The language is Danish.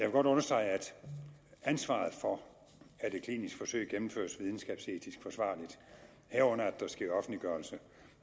godt understrege at ansvaret for at et klinisk forsøg gennemføres videnskabsetisk forsvarligt herunder at der sker offentliggørelse